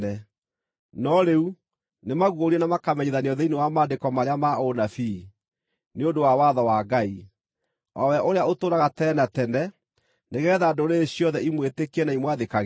no rĩu nĩmaguũrie na makamenyithanio thĩinĩ wa Maandĩko marĩa ma ũnabii, nĩ ũndũ wa watho wa Ngai, o we ũrĩa ũtũũraga tene na tene, nĩgeetha ndũrĩrĩ ciothe imwĩtĩkie na imwathĩkagĩre: